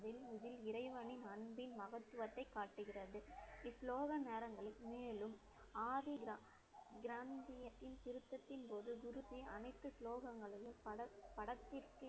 இறைவனின் அன்பின் மகத்துவத்தை காட்டுகிறது. நேரங்களில், மேலும், ஆதி திருத்தத்தின் போது, குருஜி அனைத்து ஸ்லோகங்களிலும் படத்~ படத்திற்கு